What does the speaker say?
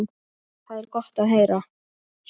Það er gott að heyra.